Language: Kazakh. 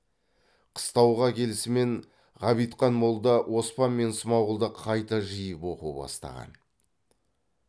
қыстауға келісімен ғабитхан молда оспан мен смағұлды қайта жиып оқу бастаған